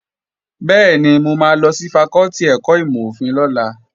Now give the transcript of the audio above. Bẹ́ẹ̀ni, mo máa lọ sí fakọ́tì ẹ̀kọ́ ìmọ̀-òfin lọ́la